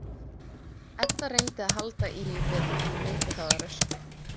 Edda reyndi að halda í við gönguhraða Röskvu.